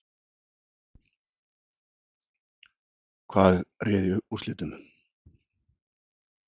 Hvað réði úrslitum?